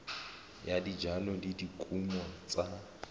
ya dijalo le dikumo tsa